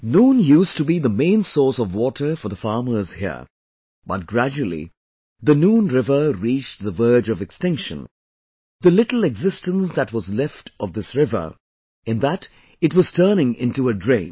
Noon, used to be the main source of water for the farmers here, but gradually the Noon river reached the verge of extinction, the little existence that was left of this river, in that it was turning into a drain